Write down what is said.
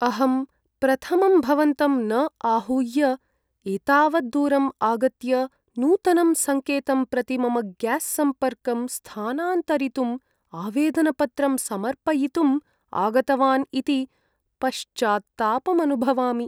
अहं प्रथमं भवन्तं न आहूय एतावत् दूरम् आगत्य नूतनं सङ्केतं प्रति मम ग्यास् सम्पर्कं स्थानान्तरितुम् आवेदनपत्रं समर्पयितुम् आगतवान् इति पश्चात्तापम् अनुभवामि।